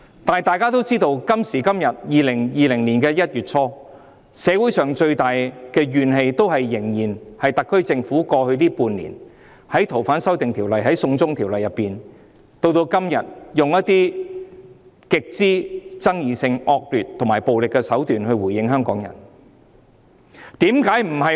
但大家也知道，今時今日，在2020年的1月初，社會上最大的怨氣仍然是針對特區政府在過去半年處理《逃犯條例》的修訂或"送中條例"時，一直使用一些極具爭議性、惡劣和暴力手段來回應香港人的訴求。